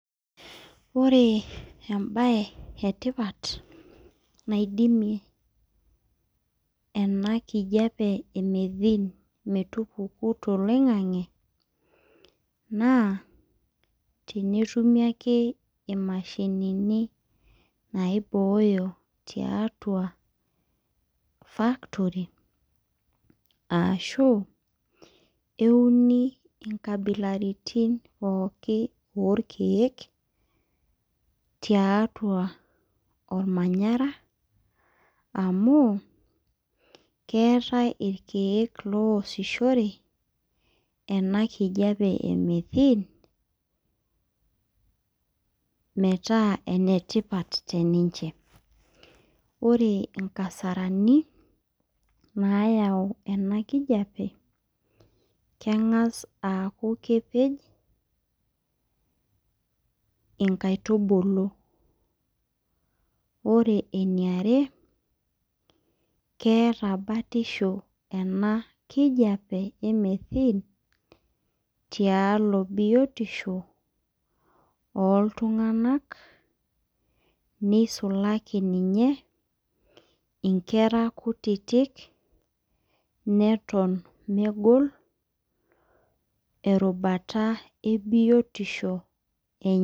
Ore embaye etipat nadidimu ena kijiape metupuku toloing'ang'e tenetumi ake imashinini naibooyo tuatua factory aashu euni nkabilaitin pookin orkeek, tiatua ormanyara amu keetai irkeek oosishoreki ena kijiape e methene metaa enetipata teninche, ore nkasarani naayau ena kijiape keng'as aaku kepej nkaitubulu ore keeta batisho ena kijiape e methene tiatua biotisho oltung'anak nisulaki ninye nkera kutitik neton mefol erubata ebiotisho.